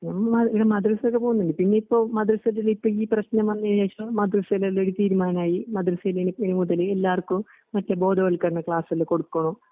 ഇമ്മാതിഇത് മദ്രസേല് പൊന്നില്ലെ ഇനിയിപ്പം മദ്രസെചൊല്ലി ഇപ്പം ഈപ്രശ്നം വന്നതിനുശേഷം മദ്രസയിലെന്തൊ തീരുമാനായി. മദ്രസയിലിനി ഇനിമുതല് എല്ലാർക്കും മറ്റെബോധവൽക്കരണക്ലാസ്സല്ലെകൊടുക്കുവൊള്ളു.